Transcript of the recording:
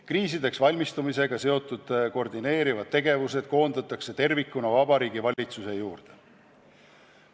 Kriisideks valmistumisega seotud koordineerivad tegevused koondatakse tervikuna Vabariigi Valitsuse juurde.